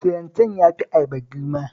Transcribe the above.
Filanten ya fi ayaba girma